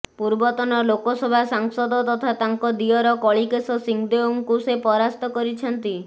ପୂର୍ବତନ ଲୋକସଭା ସାଂସଦ ତଥା ତାଙ୍କ ଦିଅର କଳିକେଶ ସିଂହଦେଓଙ୍କୁ ସେ ପରାସ୍ତ କରିଛନ୍ତି